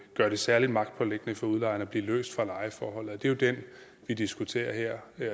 gør det særlig magtpåliggende for udlejeren at blive løst fra lejeforholdet det er jo det vi diskuterer her